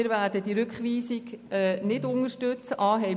Wir werden die Rückweisung nicht unterstützen.